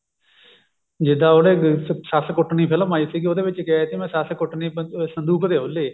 ਜਿੱਦਾਂ ਉਹਨੇ ਸੱਸ ਕੁੱਟਣੀ ਫਿਲਮ ਆਈ ਸੀ ਉਹਦੇ ਵਿੱਚ ਕਿਹਾ ਕਿ ਮੈਂ ਸੱਸ ਕੁੱਟਣੀ ਸੰਦੂਕ ਦੇ ਉਹਲੇ